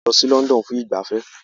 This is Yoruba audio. A lọ sí London fún ìgbafẹ́